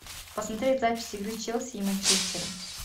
посмотреть запись игры челси и манчестера